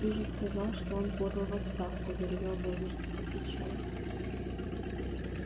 ты же сказал что он подал в отставку заревел богерт отвечай